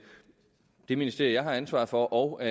ministerie jeg har ansvaret for og